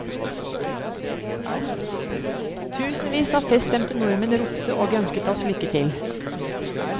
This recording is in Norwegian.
Tusenvis av feststemte nordmenn ropte og ønsket oss lykke til.